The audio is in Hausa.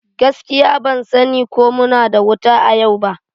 Gaskiya, ban sani ko muna da wuta a yau ba.